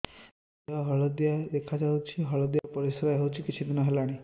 ଦେହ ହଳଦିଆ ଦେଖାଯାଉଛି ହଳଦିଆ ପରିଶ୍ରା ହେଉଛି କିଛିଦିନ ହେଲାଣି